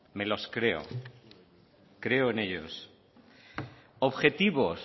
me los creo creo en ellos objetivos